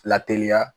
Lateliya